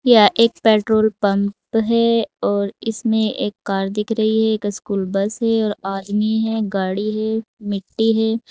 यह एक petrol pump है और इसमें एक कार दिख रही है एक स्कूल बस है और आदमी है गाड़ी है मिट्टी है।